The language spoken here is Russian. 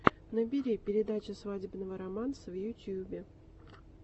набери передача свадебного романса в ютюбе